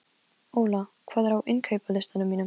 Óla, hvað er á innkaupalistanum mínum?